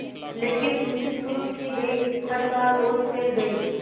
लेकिन उनकी शुरू की गई हड़ताल और फैल गई